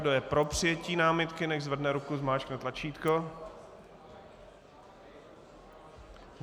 Kdo je pro přijetí námitky, nechť zvedne ruku, zmáčkne tlačítko.